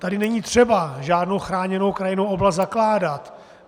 Tady není třeba žádnou chráněnou krajinnou oblast zakládat.